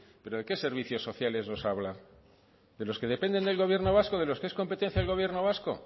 pero de qué servicios sociales nos habla de los que dependen del gobierno vasco de los que es competencia el gobierno vasco